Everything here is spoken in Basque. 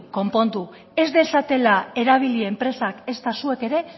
konpondu ez dezatela erabili enpresak ezta zuek ere